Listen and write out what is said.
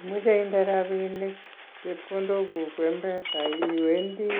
Imoche inde rapinik chepkondoguk mpesa iwendi